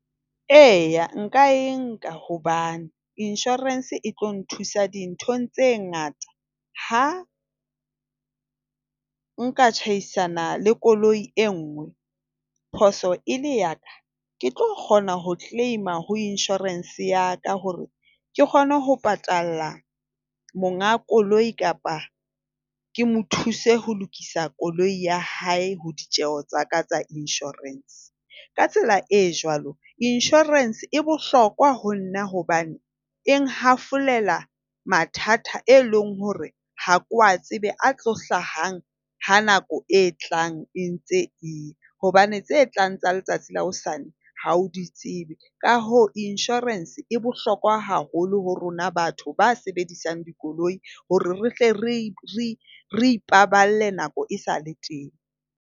E, nka e nka hobane insurance e tlo nthusa dinthong tse ngata. Ha nka tjhaisana le koloi e nngwe phoso e le ya ka. Ke tlo kgona ho claim-a ho insurance ya ka hore ke kgone ho patala monga koloi kapa ke mo thuse ho lokisa koloi ya hae ho ditjeo tsa ka tsa insurance. Ka tsela e jwalo insurance e bohlokwa ho nna hobane e nhafolela mathata eo e leng hore ha ke wa tsebe a tlo hlahang ha nako e tlang e ntse e ya. Hobane tse tlang tsa letsatsi la hosane ha o di tsebe. Ka hoo insurance e bohlokwa haholo ho rona batho ba sebedisang dikoloi hore re hle re ipaballe nako esale teng.